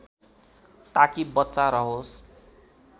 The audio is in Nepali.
ताकि बच्चा रहोस्